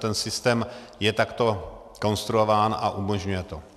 Ten systém je takto konstruován a umožňuje to.